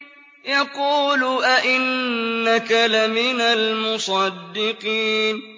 يَقُولُ أَإِنَّكَ لَمِنَ الْمُصَدِّقِينَ